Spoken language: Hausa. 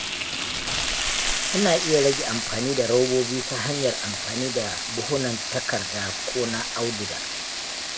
Ina iya rage amfani da robobi ta hanyar amfani da buhunan takarda ko na auduga.